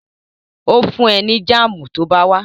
Ó fún ẹ ní jáàmù tó bá wá